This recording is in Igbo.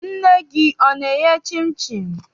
Nne gị ana-eye chịnchịn?